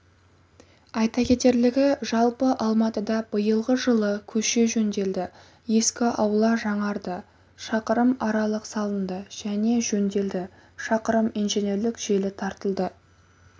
айта кетерлігі жалпы алматыда биылғы жылы көше жөнделді ескі аула жаңарды шақырым арық салынды және жөнделді шақырым инженерлік желі тартылды